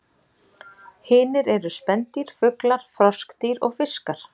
Hinir eru spendýr, fuglar, froskdýr og fiskar.